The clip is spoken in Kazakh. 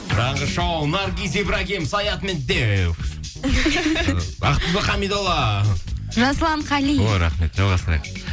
таңғы шоу наргиз ибрагим саят медеуов і ақбибі хамидолла жасұлан қали ой рахмет жалғастырайық